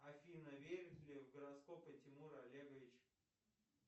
афина верит ли в гороскопы тимур олегович